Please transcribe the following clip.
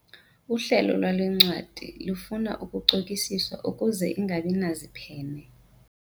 Uhlelo lwale ncwadi lufuna ukucokisiswa ukuze ingabi naziphene.